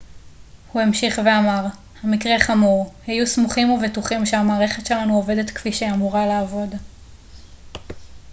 הוא המשיך ואמר המקרה חמור היו סמוכים ובטוחים שהמערכת שלנו עובדת כפי שהיא אמורה לעבוד